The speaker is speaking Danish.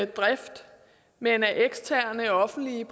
drift men at eksterne offentlige